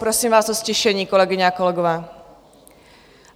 Prosím vás o ztišení, kolegyně a kolegové.